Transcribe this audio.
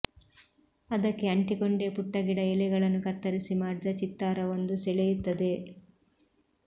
ಅದಕ್ಕೆ ಅಂಟಿಕೊಂಡೇ ಪುಟ್ಟ ಗಿಡ ಎಲೆಗಳನ್ನು ಕತ್ತರಿಸಿ ಮಾಡಿದ ಚಿತ್ತಾರವೊಂದು ಸೆಳೆಯುತ್ತದೆ